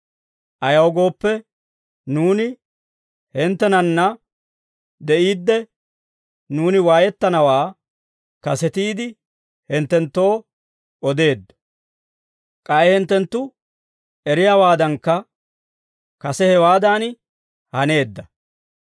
Ayaw gooppe, nuuni hinttenanna de'iidde, nuuni waayettanawaa kasetiide hinttenttoo odeeddo; k'ay hinttenttu eriyaawaadankka kase hewaadan haneedda.